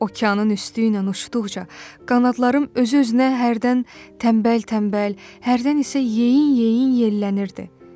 Okeanın üstü ilə uçduqca qanadlarım özü-özünə hərdən tənbəl-tənbəl, hərdən isə yeyin-yeyin yellənirdi.